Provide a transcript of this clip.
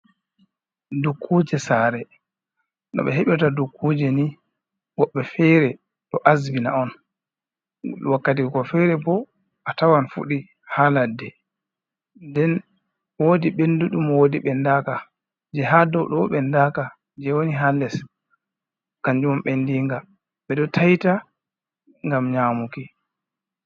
Dukkuje Sare, noɓe heɓirta nii dukkuje ni, woɓbe feree ɗo asbina'on, wakkati ko go fere bo atawan fuɗii ha ladde. Nden woodi ɓenduɗum, woodi ɓendaka. Jee ha douɗo ɓendaka, je woni ha less kanjumbo ɓendinga ɓeɗo taiita ngam nyamuki.